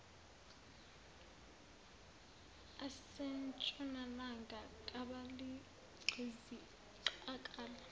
asentshonalanga kabaligqizi qakala